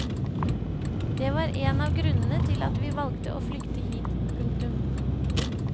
Det var en av grunnene til at vi valgte å flykte hit. punktum